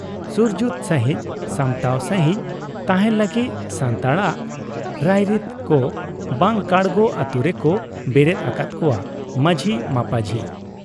ᱥᱩᱨᱡᱩᱛ ᱥᱟᱺᱦᱤᱡ ᱥᱟᱢᱴᱟᱣ ᱥᱟᱺᱦᱤᱡ ᱛᱟᱦᱮᱸᱱ ᱞᱟᱹᱜᱤᱫ ᱥᱟᱱᱛᱟᱲᱟᱜ ᱨᱟᱭᱨᱤᱛ ᱠᱚ ᱵᱟᱝ ᱠᱟᱲᱜᱚ ᱟᱹᱛᱩ ᱨᱮᱠᱚ ᱵᱮᱨᱮᱫ ᱟᱠᱟᱫ ᱠᱚᱣᱟ ᱢᱟᱹᱡᱷᱤ ᱢᱟᱹᱯᱟᱹᱡᱷᱤ ᱾